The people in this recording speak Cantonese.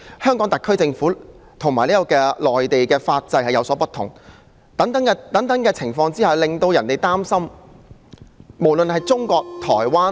香港特區政府和內地法制有所不同，諸等情況令人擔心，無論是中國、台灣......